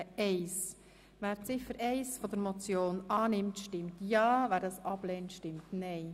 Wer Ziffer 1 der Motion annimmt, stimmt ja, wer diese ablehnt, stimmt nein.